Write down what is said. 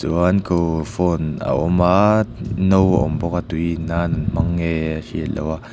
chuan khu phone a awm a no a awm bawka tui in nan an hmang nge a hriat loh a.